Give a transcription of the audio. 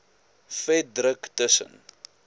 vet druk tussen